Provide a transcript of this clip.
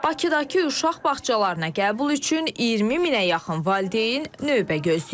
Bakıdakı uşaq bağçalarına qəbul üçün 20 minə yaxın valideyn növbə gözləyir.